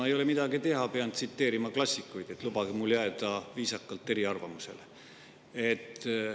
No ei ole midagi teha, pean tsiteerima klassikuid: lubage mul jääda viisakalt eriarvamusele.